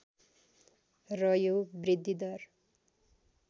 र यो वृद्धिदर